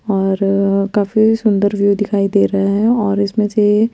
और काफी सुन्दर व्यू दिखाई दे रहा है और इसमें से--